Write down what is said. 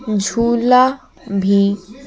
झुला भी --